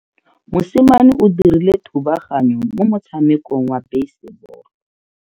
Mosimane o dirile thubaganyo mo motshamekong wa basebolo.